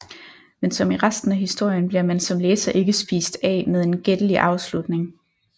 Men som i resten af historien bliver man som læser ikke spist af med en gættelig afslutning